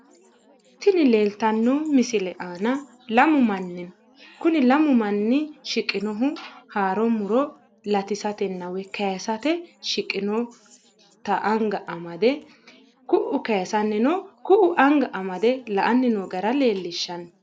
Tini leeltanno misile aana lamu manni no kuni lamu manni shiqinohu haaro muro latisatenna woy kayisate anga amade ku'u kayiisanni no ku'u anga amade la'anni noo gara leellishshanno.